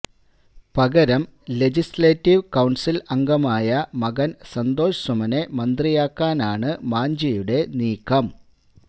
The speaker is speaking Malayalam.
പകരം ലെജിസ്ലേറ്റീവ് കൌണ്സില് അംഗമായ മകന് സന്തോഷ് സുമനെ മന്ത്രിയാക്കാനാണ് മാഞ്ചിയുടെ നീക്കം